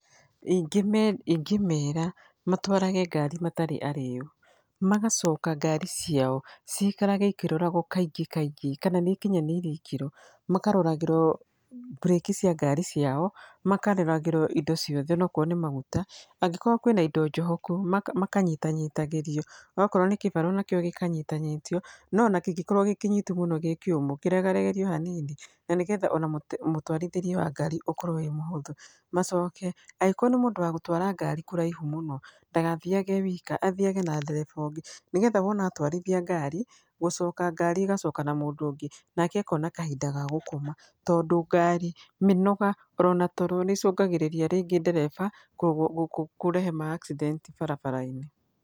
Ingĩmeera matwarage ngari matarĩ arĩu, magacoka ngari ciao ciikarage ikĩroragwo kaingĩ kaingĩ kana nĩ ikinyanĩire ikĩro. Makaroragĩrwo mburĩki cia ngari ciao, makaroragĩrwo indo ciothe okorwo nĩ maguta, angĩkorwo kwĩna indo njohoku makanyitanyitagĩrio, okorwo nĩ kĩbara onakĩo gĩkanyitanyitwo, no ona kĩngĩkorwo gĩkĩnyitu mũno gĩ kĩũmũ kĩregaregerio hanini na nĩ getha ona mũtwarithĩrie wa ngari ũkorwo wĩ mũhũthũ. Macoke agĩkorwo nĩ mũndũ wa gũtwara ngari kũraihu mũno ndagathiage e wika, athiage na ndereba ũngĩ, nĩgetha wona atwarithia ngari, gũcoka ngari ĩgacoka na mũndũ ũngĩ, nake akona kahinda ga gũkoma. Tondũ ngari, mĩnoga, orona toro nĩ ĩcũngagĩrĩria rĩngĩ ndereba kũrehe ma accident barabara-inĩ.